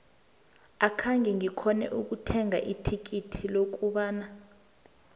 akhenge ngikghone ukuthenga ithikithi lokubona iub